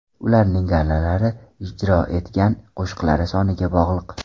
Ularning gonorari ijro etgan qo‘shiqlari soniga bog‘liq.